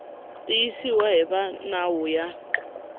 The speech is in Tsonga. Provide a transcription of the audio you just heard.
tiyisiwa hi va nawu ya